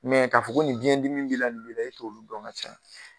Mɛ k'a fɔ ko nin biyɛn dimi b'i la, nin b'i la, e t'olu dɔn ka caya.